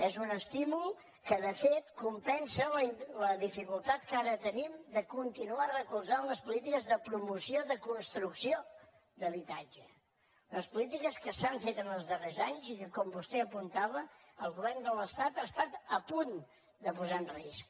és un estímul que de fet compensa la dificultat que ara tenim de continuar recolzant les polítiques de promoció de construcció d’habitatge les polítiques que s’han fet en els darrers anys i que com vostè apuntava el govern de l’estat ha estat a punt de posar en risc